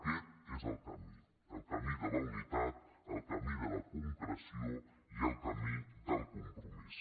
aquest és el camí el camí de la unitat el camí de la concreció i el camí del compromís